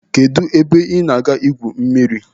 Kedụ ebe ị na-aga igwu mmiri?